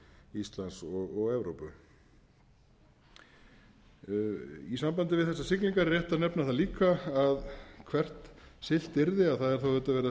íslands og evrópu í sambandi við þessar siglingar er rétt að nefna það líka að hvert siglt yrði það er auðvitað ferð að